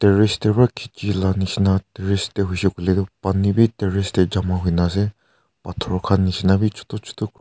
terrace de pra khichi la nishena terrace de huishe kuile tu pani b terrace de jama hui na ase pathor khan b chutu chutu--